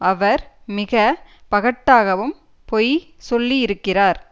அவர் மிக பகட்டாகவும் பொய் சொல்லியிருக்கிறார்